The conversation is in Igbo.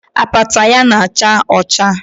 Apata ya na-acha ọcha